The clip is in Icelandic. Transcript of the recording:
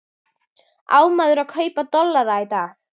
Á maður að kaupa dollara í dag?